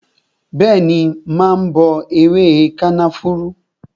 Bẹẹni, mà á bọ ewé kànáfùrú